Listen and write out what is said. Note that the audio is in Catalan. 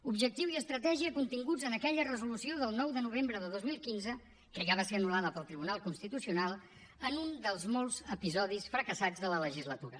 objectiu i estratègia continguts en aquella resolució del nou de novembre de dos mil quinze que ja va ser anul·lada pel tribunal constitucional en un dels molts episodis fracassats de la legislatura